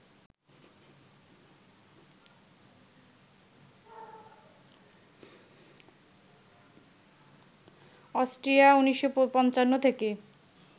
Austria ১৯৫৫ থেকে